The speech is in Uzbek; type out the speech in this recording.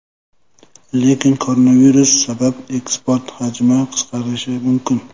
Lekin koronavirus sabab eksport hajmi qisqarishi mumkin.